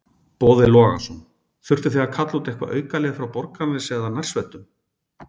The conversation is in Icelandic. Boði Logason: Þurftuð þið að kalla út eitthvað aukalið frá Borgarnesi eða nærsveitunum?